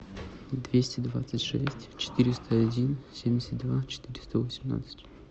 двести двадцать шесть четыреста один семьдесят два четыреста восемнадцать